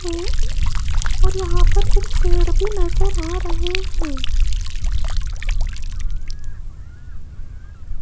ये और यहां पर कुछ पेड़ भी नजर आ रहे हैं।